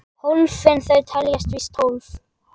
Hólfin þau teljast víst tólf.